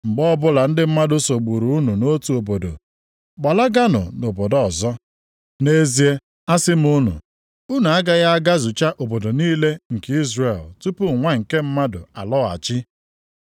Mgbe ọbụla ndị mmadụ sogburu unu nʼotu obodo gbalaganụ nʼobodo ọzọ. Nʼezie, asị m unu, unu agaghị agazucha obodo niile nke Izrel tupu Nwa nke Mmadụ alọghachi.